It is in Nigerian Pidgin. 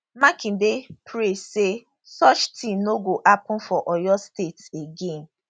makinde pray say such tin no go happun for oyo state again